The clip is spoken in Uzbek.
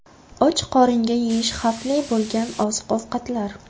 Och qoringa yeyish xavfli bo‘lgan oziq-ovqatlar.